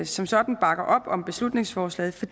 som sådan bakker op om beslutningsforslaget